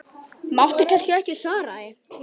Máttu kannski ekki svara því?